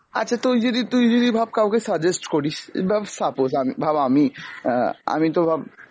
আচ্ছা তুই যদি তুই যদি ভাব কাওকে suggest করিস বা suppose আমি, ভাব আমিই অ্যাঁ আমিতো ভাব